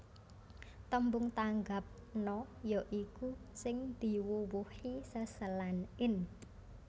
Tembung tanggap na ya iku sing diwuwuhi seselan in